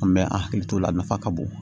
An bɛ an hakili t'o la nafa ka bon